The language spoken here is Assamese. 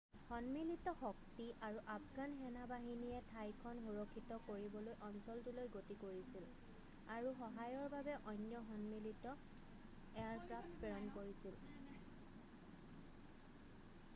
সন্মিলিত শক্তি আৰু আফগান সেনা-বাহিনীয়ে ঠাইখন সুৰক্ষিত কৰিবলৈ অঞ্চলটোলৈ গতি কৰিছিল আৰু সহায়ৰ বাবে অন্য সন্মিলিত এয়াৰক্ৰাফ্ট প্ৰেৰণ কৰিছিল